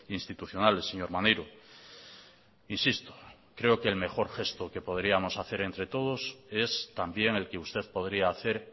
institucionales señor maneiro insisto creo que el mejor gesto que podríamos hacer entre todos es también el que usted podría hacer